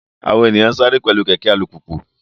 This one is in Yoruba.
Àwọn ènìyàn ń sáré pẹ̀lú kẹ̀kẹ́ alùpùpù